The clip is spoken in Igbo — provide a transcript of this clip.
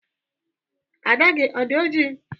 Ada gị ọ dị ọjị?